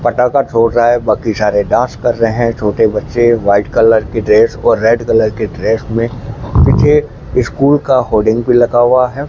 पटाखा छोड़ रहा है बाकी सारे डांस कर रहे हैं छोटे बच्चे व्हाइट कलर की ड्रेस और रेड कलर की ड्रेस में पीछे स्कूल का होडिंग भी लगा हुआ है।